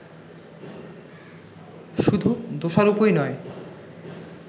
শুধু দোষারূপই নয়